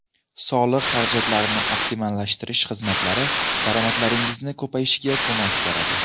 Soliq xarajatlarini optimallashtirish xizmatlari daromadlaringiz ko‘payishiga ko‘mak beradi.